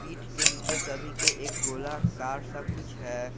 पीठ के नीचे सभी के एक गोलाकार सा कुछ है।